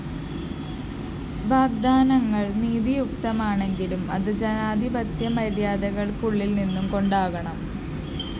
വാഗ്വാദങ്ങള്‍ നീതിയുക്തമാണെങ്കിലും അത്‌ ജനാധിപത്യ മര്യാദകള്‍ക്ക്‌ ഉള്ളില്‍ നിന്നു കൊണ്ടാകണം